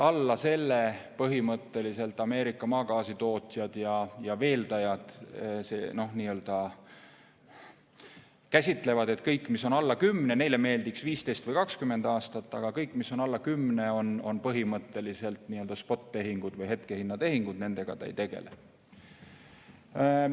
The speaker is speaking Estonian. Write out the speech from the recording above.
Põhimõtteliselt Ameerika maagaasi tootjad ja veeldajad käsitavad nii, et kõik, mis on alla kümne aasta – neile meeldiks isegi 15 või 20 aastat – aga kõik, mis on alla kümne aasta, on põhimõtteliselt spottehingud või hetketehingud ja nad nendega ei tegele.